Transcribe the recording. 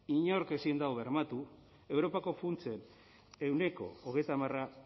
inork ezin dau bermatu europako funtsen ehuneko hogeita hamara